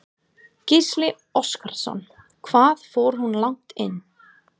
Gísli Óskarsson: Hvað fór hún langt inn?